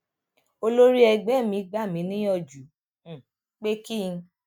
olórí ẹgbé mi gbà mí níyànjú um pé kí